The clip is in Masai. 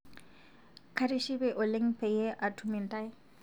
Katishipe oleng payie atum ntai